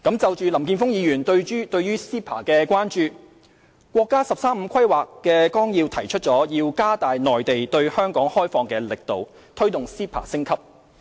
就林健鋒議員對 CEPA 的關注，國家"十三五"規劃綱要提出要加大內地對香港開放的力度，推動 CEPA 升級。